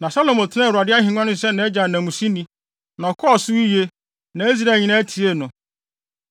Na Salomo tenaa Awurade ahengua no so sɛ nʼagya Dawid nanmusini, na ɔkɔɔ so yiye, na Israel nyinaa tiee no.